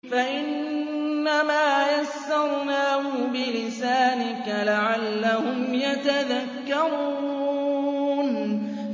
فَإِنَّمَا يَسَّرْنَاهُ بِلِسَانِكَ لَعَلَّهُمْ يَتَذَكَّرُونَ